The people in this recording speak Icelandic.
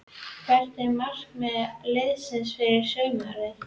Hvert er markmið liðsins fyrir sumarið?